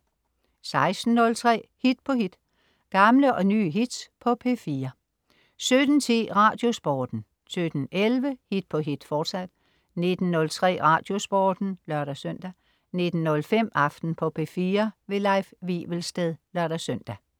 16.03 Hit på hit. Gamle og nye hits på P4 17.10 Radiosporten 17.11 Hit på hit, fortsat 19.03 Radiosporten (lør-søn) 19.05 Aften på P4. Leif Wivelsted (lør-søn)